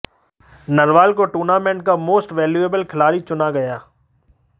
नरवाल को टूर्नामेंट का most valuable खिलाड़ी चुना गया